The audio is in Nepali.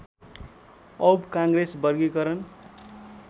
औव काङ्ग्रेस वर्गीकरण